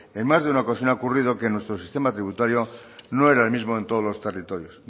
en más de una ocasión ha ocurrido que en nuestro sistema tributario no era el mismo en todos los territorios